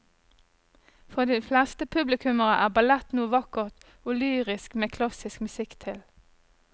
For de fleste publikummere er ballett noe vakkert og lyrisk med klassisk musikk til.